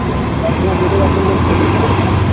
সবসময় দুটো করে একটা করে লোক খোঁজে ঠিক আছে